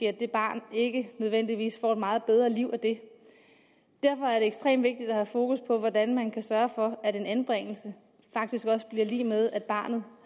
at det barn ikke nødvendigvis får et meget bedre liv af det derfor er det ekstremt vigtigt at have fokus på hvordan man kan sørge for at en anbringelse faktisk også bliver lig med at barnet